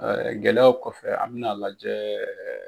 gɛlɛyaw kɔfɛ an mɛna lajɛ.